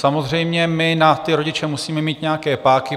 Samozřejmě my na ty rodiče musíme mít nějaké páky.